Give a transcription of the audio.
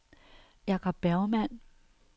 Jacob Bergmann